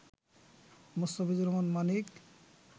Mustafizur Rahman Manik